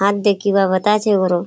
हातदे किबा बता छे कोरो।